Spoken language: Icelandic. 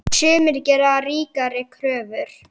Sumir gera ríkari kröfur.